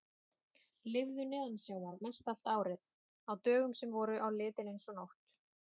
Lifðu neðansjávar mestallt árið, á dögum sem voru á litinn eins og nótt!